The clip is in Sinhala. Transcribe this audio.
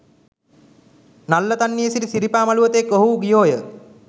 නල්ලතන්නියේ සිට සිරිපා මළුව තෙක් ඔවුහු ගියෝහ